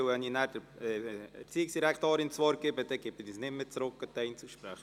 Denn wenn ich der Regierungsrätin das Wort erteilt habe, gebe ich es nicht mehr zurück an die Einzelsprecher.